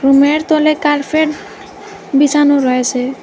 রুমের তলে কার্ফেট বিছানো রয়েসে।